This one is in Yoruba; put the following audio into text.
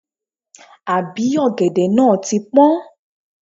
Àbí ọ̀gẹ̀dẹ̀ náà ti pọ́n?